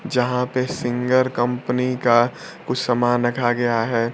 जहां पे Singer company का कुछ सामान रखा गया है।